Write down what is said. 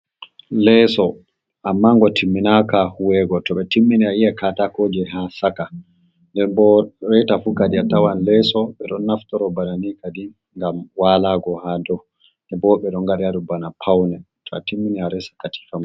Leeso amma ngo timinaka huwego to ɓe timmini ayi'an katakoje ha saka, nden bo reta fu kadi atawan leeso ɓe ɗon naftoro banani kadi ngam waalago ha dou, to bo wobɓe ɗo nga ɗaya ɗum bana paune to atimmini aresa katifa ma.